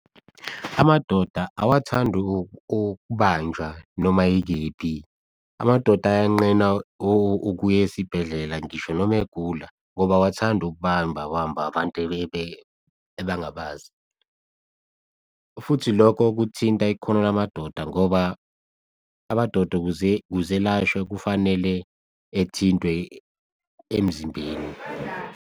Amadoda awathandi ukubanjwa noma ikephi, amadoda ayanqena ukuya esibhedlela ngisho noma egula ngoba awathandi ukubamba bambwa abantu abangabazi. Futhi, lokho kuthinta ikhono lamadoda ngoba amadoda ukuze elashwe kufanele ethintwe emzimbeni.